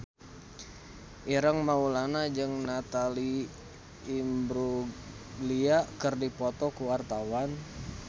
Ireng Maulana jeung Natalie Imbruglia keur dipoto ku wartawan